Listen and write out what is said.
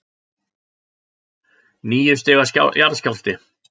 Níu stiga jarðskjálfti